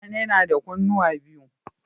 Mutane nada kunnuwa biyu